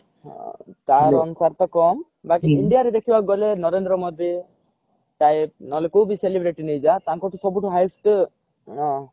star ଅନୁସାରେ ତା କମ ବାକି india ରେ ଦେଖିବାକୁ ଗଲେ ନରେନ୍ଦ୍ର ମୋଦୀ typeନହେଲେ କୋଉ ବି celebrity ନେଇଯା ତାଙ୍କଠୁ ସବୁଠୁ highest ଆଁ